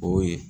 O ye